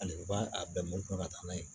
Hali u b'a a bɛɛ mɔ ka taa n'a ye